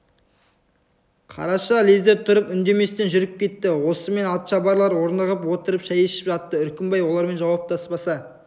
қараша лезде тұрып үндеместен жүріп кетті осымен атшабарлар орнығып отырып шай ішіп жатты үркімбай олармен жауаптаспаса